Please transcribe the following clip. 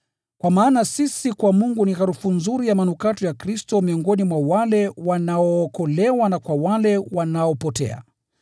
Kwa maana sisi kwa Mungu ni harufu nzuri ya manukato ya Kristo miongoni mwa wale wanaookolewa na kwa wale wanaopotea.